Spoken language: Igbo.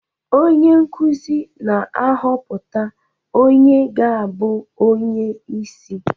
Onye nkuzi na-ahọpụta onye ga-abụ onye isi